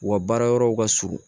U ka baara yɔrɔw ka surun